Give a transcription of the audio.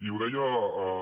i ho deia